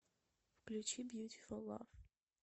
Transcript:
включи бьютифул лав